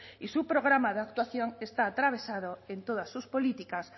y su programa de actuación está atravesado en todas sus políticas